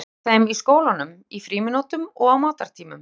Hvernig líður þeim í skólanum, í frímínútum og á matartímum?